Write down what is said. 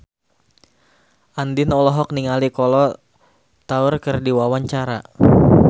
Andien olohok ningali Kolo Taure keur diwawancara